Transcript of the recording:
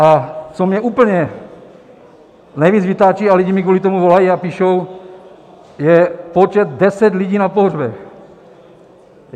A co mě úplně nejvíc vytáčí a lidi mi kvůli tomu volají a píšou, je počet - deset lidí na pohřbech.